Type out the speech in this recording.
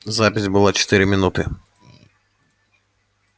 запись была четыре минуты